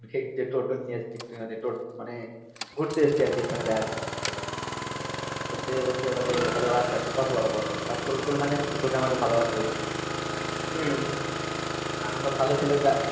সেই যে টোটো নিয়ে এসছি মানে ঘুরতে এসছি আর কি ওর সঙ্গে দেখা করতে এসছি ষোল সাল বলতে বলছে বলে ও আচ্ছা আচ্ছা বসো বাবা বসো আর সৌরদীপের মা জানিস তো তোকে আমাকে ভালোবাসে প্রচুর আর আমরা ভালো ছেলে